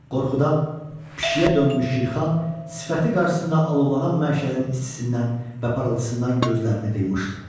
Qorxudan pişiyə dönmüş Şirxan sifəti qarşısında alovlanan məşərin istisindən və parıltısından gözlərini qıymışdı.